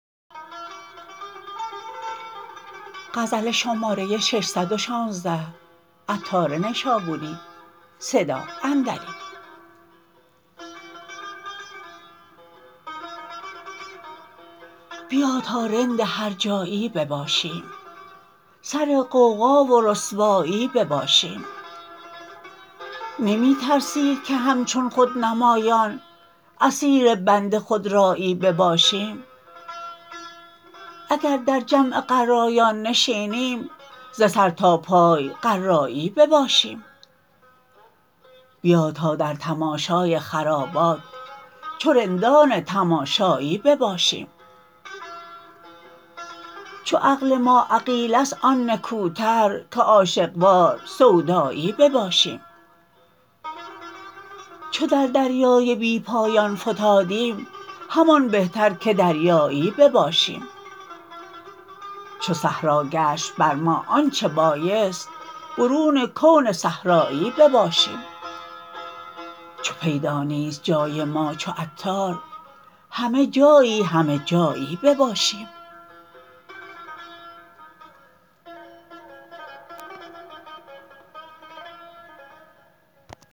بیا تا رند هر جایی بباشیم سر غوغا و رسوایی بباشیم نمی ترسی که همچون خود نمایان اسیر بند خودرایی بباشیم اگر در جمع قرایان نشینیم ز سر تا پای قرایی بباشیم بیا تا در تماشای خرابات چو رندان تماشایی بباشیم چو عقل ما عقیله است آن نکوتر که عاشق وار سودایی بباشیم چو در دریای بی پایان فتادیم همان بهتر که دریایی بباشیم چو صحرا گشت بر ما آن چه بایست برون کون صحرایی بباشیم چو پیدا نیست جای ما چو عطار همه جایی همه جایی بباشیم